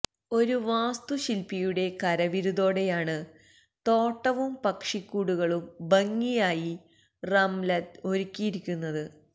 ഒരു വാസ്തുശില്പിയുടെ കരവിരുതോടെയാണ് തോട്ടവും പക്ഷിക്കൂടുകളും ഭംഗിയായി റംലത്ത് ഒരുക്കിയിരിക്കുന്നത്